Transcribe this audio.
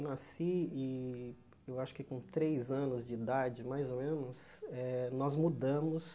Nasci e, eu acho que com três anos de idade, mais ou menos eh, nós mudamos